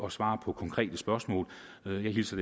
at svare på konkrete spørgsmål jeg hilser